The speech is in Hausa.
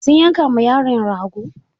Sun yanka ma yaron rago?